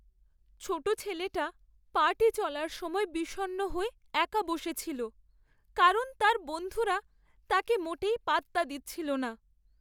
ছোটো ছেলেটা পার্টি চলার সময় বিষণ্ণ হয়ে একা বসেছিল কারণ তার বন্ধুরা তাকে মোটেই পাত্তা দিচ্ছিল না।